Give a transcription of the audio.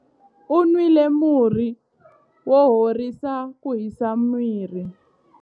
U nwile murhi wo horisa ku hisa miri.